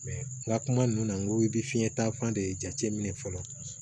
n ka kuma ninnu na n ko i bɛ fiɲɛ taa fan de jate minɛ fɔlɔ